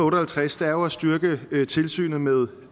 og halvtreds er jo at styrke tilsynet med